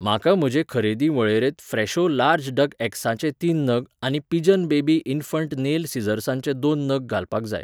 म्हाका म्हजे खरेदी वळेरेंत फ्रॅशो लार्ज डक एग्साचे तीन नग आनी पिजन बेबी इन्फन्ट नेल सिसॉर्सांचे दोन नग घालपाक जाय.